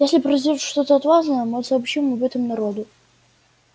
если произойдёт что-то важное мы сообщим об этом народу